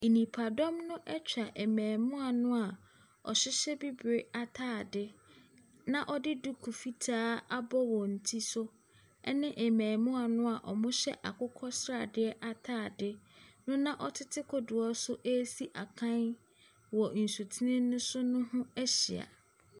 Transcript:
Nipadɔm no atwa mmarimaa no a wɔhyehyɛ bibire atadeɛ na wɔde duku fitaa abɔ wɔn ti so ne mmarimaa no a wɔhyɛ akokɔsradeɛ atadeɛ na wɔtete kodoɔ so resi akan wɔ nsutene no so no ho ahyia.